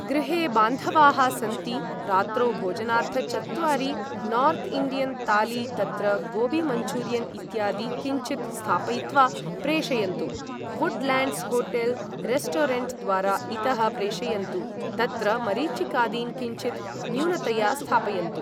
गृहे बान्धवाः सन्ति रात्रौ भोजनार्थ चत्वारि नोर्त् इण्डियन् तालि तत्र गोबि मञ्चूरियन् इत्यादि किञ्चित् स्थापयित्वा प्रेषयन्तु वुडलेंड्स् होटेल् रेस्टोरेंट् द्वारा इतः प्रेषयन्तु तत्र मरिचिकादिन् किञ्चित् न्यूनतया स्थापयन्तु